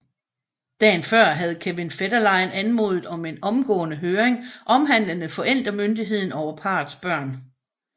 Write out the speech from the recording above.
Dagen før havde Kevin Federline anmodet om en omgående høring omhandlende forældremyndigheden over parrets børn